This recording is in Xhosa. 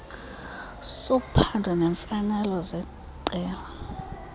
sophando neemfanelo zeqela